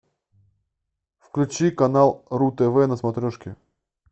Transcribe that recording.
включи канал ру тв на смотрешке